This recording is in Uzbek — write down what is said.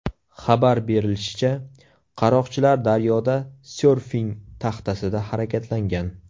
Xabar berilishicha, qaroqchilar daryoda syorfing taxtasida harakatlangan.